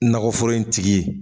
Nakɔforo in tigi